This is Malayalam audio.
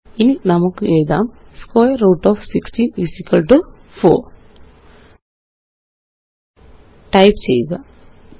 ഇനി നമുക്കെഴുതാം സ്ക്വയർ റൂട്ട് ഓഫ് 16 4 ടൈപ്പ് ചെയ്യുക 3